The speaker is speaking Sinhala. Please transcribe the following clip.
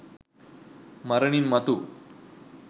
මරණින් මතු